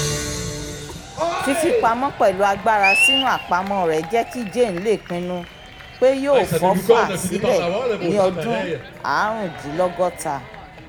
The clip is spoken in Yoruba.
fífipamọ́ pẹ̀lú agbára sínú àpamọ́ rẹ̀ jẹ́ kí jane lè pinnu pé yóò fọ́fà sílẹ̀ ní ọdún aarundinlogota